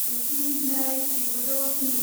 जिस्नि नै जिगुजौ स्नि